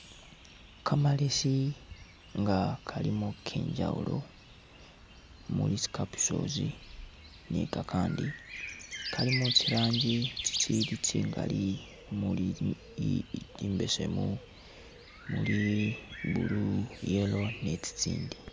Kamalesi nga kalimo kenjawulo muli tsi capsules ni kakandi kalimo tsirangi tsitsili tsingali mumuli imbesemu muli blue, yellow ni tsitsindi.